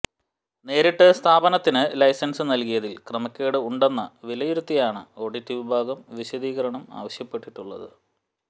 നേരിട്ട് സ്ഥാപനത്തിന് ലൈസന്സ് നല്കിയതിൽ ക്രമക്കേട് ഉണ്ടെന്ന് വിലയിരുത്തിയാണ് ഓഡിറ്റ് വിഭാഗം വിശദീകരണം ആവശ്യപ്പെട്ടിട്ടുള്ളത്